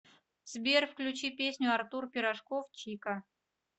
сбер включи песню артур пирожков чика